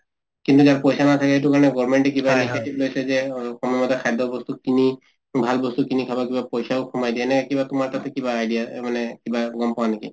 কিন্তু যাৰ পইছা নাথাকে এইটো কাৰণে government এ কিবা লৈছে যে সময়মতে খাদ্যবস্তু কিনি খাব কিবা পইছাও সোমায় দিয়ে এনেকে কিবা তোমাৰ তাতে কিবা idea মানে কিবা গম পোৱা নেকি?